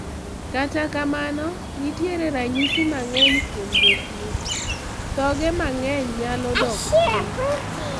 Kata kamano nitiere ranyisi mang'eny kuom jotuo, thoge mang'eny nyalo dok piny.